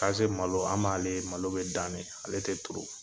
Kaze malo an b'ale malo bɛ dan de, ale tɛ tuuru.